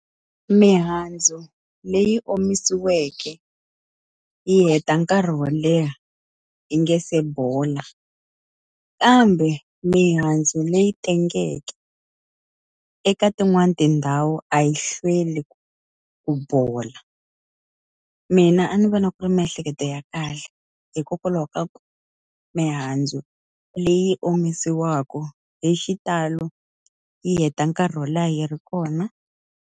Mihandzu leyi omisiweke yi heta nkarhi wo leha yi nga se bola. Kambe mihandzu leyi tengeke, eka tin'wana tindhawu a yi hlweli ku bola. Mina a ni vona ku ri miehleketo ya kahle, hikokwalaho ka ku mihandzu leyi omisiwaku hi xitalo yi heta nkarhi wo leha yi ri kona.